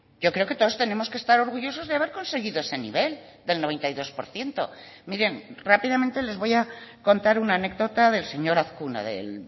yo creo que todos tenemos que estar orgullosos de haber conseguido ese nivel del noventa y dos por ciento miren rápidamente les voy a contar una anécdota del señor azkuna del